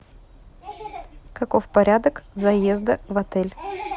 каков порядок заезда в отель